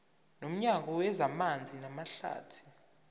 nomnyango wezamanzi namahlathi